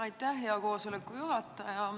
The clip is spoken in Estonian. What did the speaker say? Aitäh, hea koosoleku juhataja!